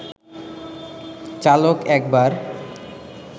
চালক একবার